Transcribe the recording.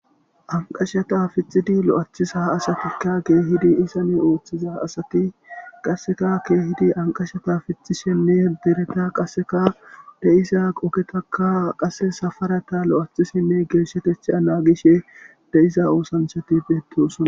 anqashata fixidi lo7aacthisa asatikka keehidi isane ooththiza asati qasseka keehidi anqashata fixishenne dereta qasseka deisa qogetakka qasse safarata lo7aachisinne geeshshatetha naagishe de7isa oosanchati beettosona